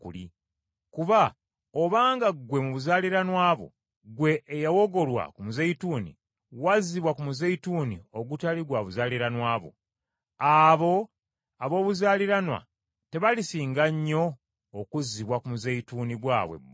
Kuba obanga ggwe mu buzaaliranwa bwo gwe eyawogolwa ku muzeyituuni, wazzibwa ku muzeyituuni ogutali gwa buzaaliranwa bo, abo ab’obuzaaliranwa tebalisinga nnyo okuzzibwa ku muzeyituuni gwabwe bo?